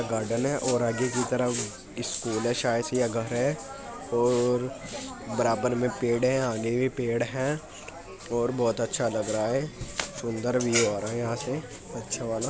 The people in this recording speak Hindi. गार्डन है और आगे की तरफ स्कूल है शायद से यह घर है और बराबर में पेड़ है आगे भी पेड़ है और बहुत अच्छा लग रहा है। सुंदर व्यू आ रहा यहाँ से अच्छा वाला --